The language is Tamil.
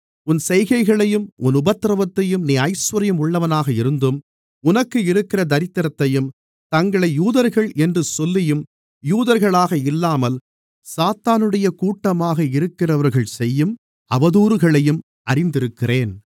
உன் செய்கைகளையும் உன் உபத்திரவத்தையும் நீ ஐசுவரியம் உள்ளவனாக இருந்தும் உனக்கு இருக்கிற தரித்திரத்தையும் தங்களை யூதர்கள் என்று சொல்லியும் யூதர்களாக இல்லாமல் சாத்தானுடைய கூட்டமாக இருக்கிறவர்கள் செய்யும் அவதூறுகளையும் அறிந்திருக்கிறேன்